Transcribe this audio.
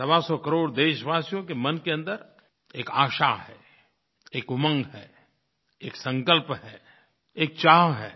सवासौ करोड़ देशवासियों के मन के अन्दर एक आशा है एक उमंग है एक संकल्प है एक चाह है